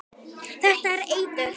Þetta er eitur.